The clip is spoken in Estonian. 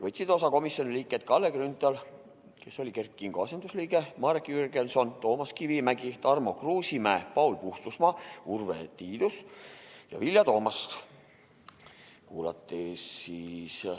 Osa võtsid komisjoni liikmed Kalle Grünthal, kes oli Kert Kingo asendusliige, Marek Jürgenson, Toomas Kivimägi, Tarmo Kruusimäe, Paul Puustusmaa, Urve Tiidus ja Vilja Toomast.